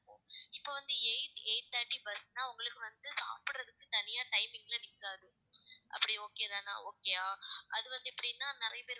இப்போ வந்து eight eight thirty bus ன்னா உங்களுக்கு வந்து சாப்பிடுறதுக்கு தனியா timing ல நிக்காது அப்படி okay தானே okay யா அது வந்து எப்படின்னா நிறைய பேர் வந்து